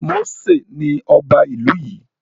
Mósè ni ọba ìlú yìí